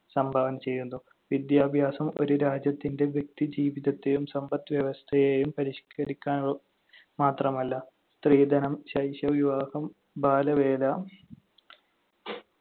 സംഭാവന ചെയ്യുന്നു. വിദ്യാഭ്യാസം ഒരു രാജ്യത്തിന്‍റെ വ്യക്തിജീവിതത്തെയും സമ്പദ്‌വ്യവസ്ഥയെയും പരിഷ്‌ക്കരിക്കാൻ മാത്രമല്ല, സ്ത്രീധനം, ശൈശവ വിവാഹം, ബാലവേല,